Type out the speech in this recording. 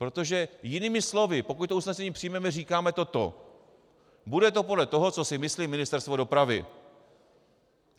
Protože jinými slovy, pokud to usnesení přijmeme, říkáme toto: Bude to podle toho, co si myslí Ministerstvo dopravy.